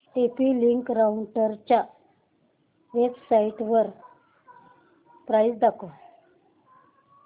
TP link राउटरच्या वेबसाइटवर price दाखव